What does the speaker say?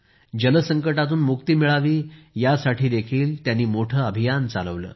जल संकटातून मुक्ती मिळावी यासाठीही त्यांनी मोठं अभियान चालविलं